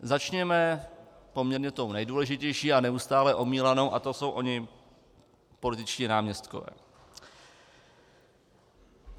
Začněme poměrně tou nejdůležitější a neustále omílanou a to jsou oni političtí náměstkové.